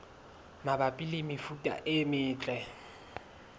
mabapi le mefuta e metle